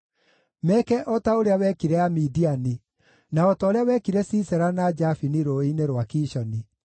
Meeke o ta ũrĩa wekire Amidiani, na o ta ũrĩa wekire Sisera na Jabini rũũĩ-inĩ rwa Kishoni,